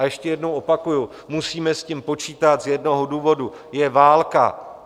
A ještě jednou opakuji, musíme s tím počítat z jednoho důvodu: je válka.